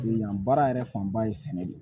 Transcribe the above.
Yan baara yɛrɛ fanba ye sɛnɛ de ye